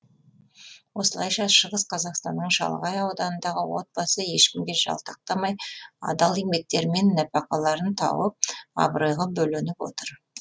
осылайша шығыс қазақстанның шалғай ауданындағы отбасы ешкімге жалтақтамай адал еңбектерімен нәпақаларын тауып абыройға бөленіп отыр